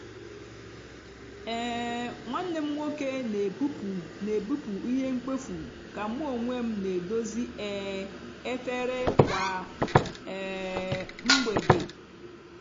um nwanne m nwoke n'ebupụ n'ebupụ ihe mkpofu ka mu onwem n'edozi um efere kwa um mgbede.